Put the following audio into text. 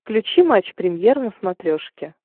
включи матч премьер на смотрешке